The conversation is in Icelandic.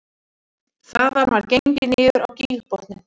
Þaðan var gengið niður á gígbotninn